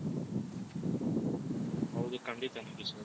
ಹೌದು ಖಂಡಿತ ನಾಗೇಶ್ ಅವ್ರೆ